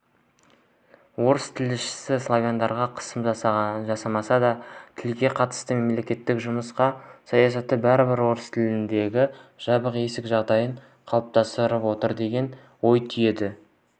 орыс тілшісі славяндарға қысым жасалмаса да тілге қатысты мемлекеттің жұмсақ саясаты бәрібір орыстілділерге жабық есік жағдайын қалыптастырып отыр деген ой түйеді